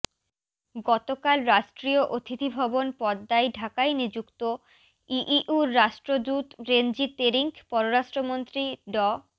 গতকাল রাষ্ট্রীয় অতিথি ভবন পদ্মায় ঢাকায় নিযুক্ত ইইউর রাষ্ট্রদূত রেনজি তেরিঙ্ক পররাষ্ট্রমন্ত্রী ড